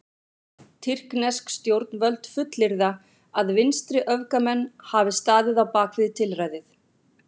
Tyrknesk stjórnvöld fullyrða að vinstriöfgamenn hafi staðið á bak við tilræðið.